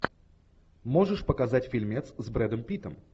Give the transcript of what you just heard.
можешь показать фильмец с брэдом питтом